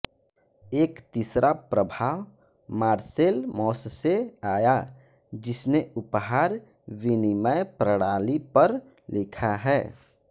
एक तीसरा प्रभाव मार्सेल मौस से आया जिसने उपहार विनिमय प्रणाली पर लिखा है